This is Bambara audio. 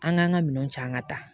An k'an ka minɛnw ca an ka taa